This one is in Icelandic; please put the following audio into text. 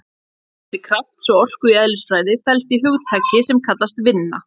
Sambandið á milli krafts og orku í eðlisfræði felst í hugtaki sem kallast vinna.